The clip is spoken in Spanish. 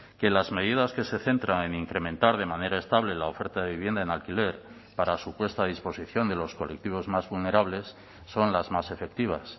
que las medidas que se centra en incrementar de manera estable la oferta de vivienda en alquiler para su puesta a disposición de los colectivos más vulnerables son las más efectivas